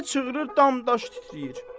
Elə çığırır dam daşı titrəyir.